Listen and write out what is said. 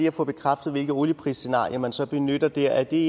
at få bekræftet hvilke olieprisscenarier man så benytter der er det